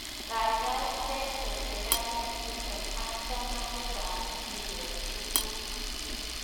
Kaikai bchei teteanet chutok ak chamanikab mbiret tugul.